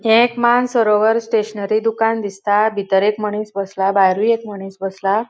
हे एक Mansarovar stationery दुकान दिसता. भितर एक मणिस बसला भायरुय एक मणिस बसला.